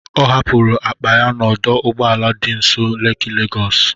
Ọ hapụrụ akpa ya n'ọdụ ụgbọ ala dị nso Leki Legọs.